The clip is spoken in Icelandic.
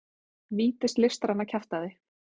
vítis listræna kjaftæði.